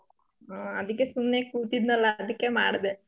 ಹ್ಮ್ ಅದಿಕ್ಕೆ ಸುಮ್ನೆ ಕೂತಿದ್ನಲ್ಲ ಅದಿಕ್ಕೆ ಮಾಡ್ಡೆ.